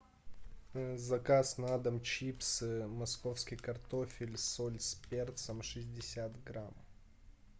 заказ на дом чипсы московский картофель соль с перцем шестьдесят грамм